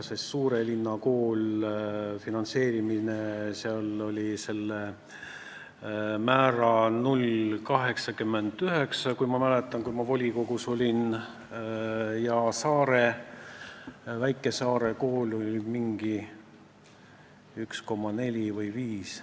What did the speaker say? Kui ma volikogus olin, siis oli suure linna kooli finantseerimise määr 0,89, kui ma õigesti mäletan, ja väikesaare koolil oli see 1,4 või 1,5.